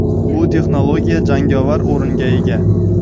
bu texnologiya jangovar o‘ringa ega.